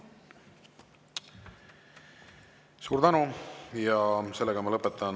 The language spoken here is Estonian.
Suur tänu!